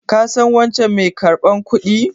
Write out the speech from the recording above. Ka san wancan mai karɓar kudin?